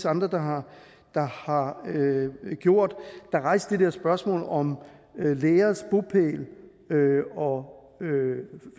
andre der har har gjort der rejste det der spørgsmål om læreres bopæl og